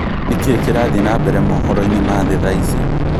nĩkĩĩ kĩrathie na mbere mohoroinĩ ma thĩ thaici